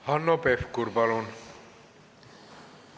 Hanno Pevkur, palun!